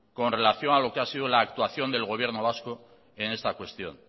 con relación a lo que ha sido la actuación del gobierno vasco en esta cuestión